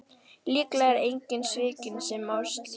Líklega er enginn svikinn sem á slíka konu.